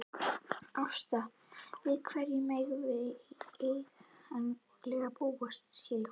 Ásta, við hverju megum við eiginlega búast hér í kvöld?